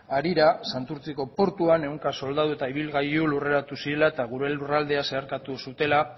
harira santurtziko portuan ehunka soldadu eta ibilgailu lurreratu zirela eta gure lurraldea zeharkatu zutela